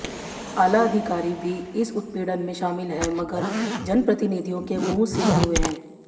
आला अधिकारी भी इस उत्पीडऩ में शामिल हैं मगर जनप्रतिनिधियों के मुंह सिले हुए हैं